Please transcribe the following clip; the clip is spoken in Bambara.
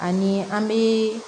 Ani an bɛ